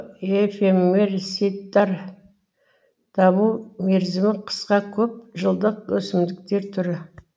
эфемерсидтар даму мерзімі қысқа көп жылдық өсімдіктер түрі